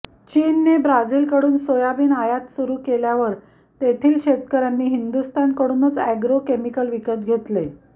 चीनने ब्राझीलकडून सोयाबीन आयात सुरू केल्यावर तेथील शेतकऱ्यांनी हिंदुस्थानकडूनच अॅग्रो केमिकल विकत घेतले